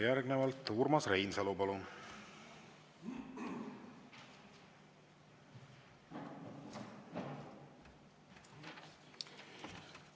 Järgnevalt Urmas Reinsalu, palun!